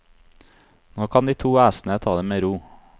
Nå kan de to æsene ta det med ro.